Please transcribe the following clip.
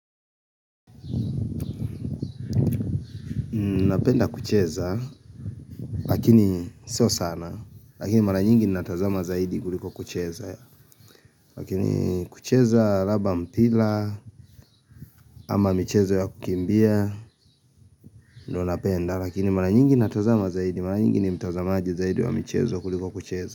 Napenda kucheza lakini sio sana lakini mara nyingi natazama zaidi kuliko kucheza Lakini kucheza labda mpira ama mchezo ya kukimbia ndo napenda lakini mara nyingi natazama zaidi mara nyingi ni mtazama zaidi wa mchezo kuliko kucheza.